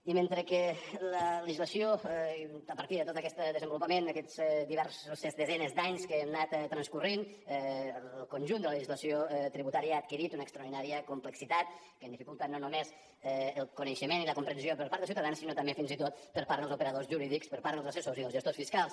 i mentre que la legislació a partir de tot aquest desenvolupament aquestes diverses desenes d’anys que han anat transcorrent el conjunt de la legislació tributària ha adquirit una extraordinària complexitat que dificulta no només el coneixement i la comprensió per part dels ciutadans sinó també fins i tot per part dels operadors jurídics per part dels assessors i dels gestors fiscals